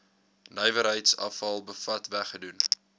nywerheidsafval bevat weggedoen